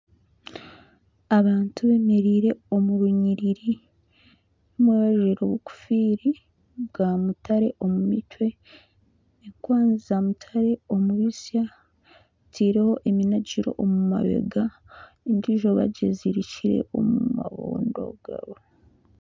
Abantu beemereire omu runyiriri, omwe ajwire enkofiiri ya mutare omu mutwe, enkwanzi za mutaare omu bitsya bataireho eminagiro omu mabega endiijo bagyezirikire omu mabondo gaabo